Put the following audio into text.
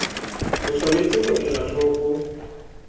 o tshwanetse ho ela hloko